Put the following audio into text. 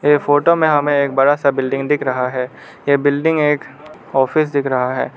ये फोटो में हमें एक बड़ा सा बिल्डिंग दिख रहा है ये बिल्डिंग एक ऑफिस दिख रहा है।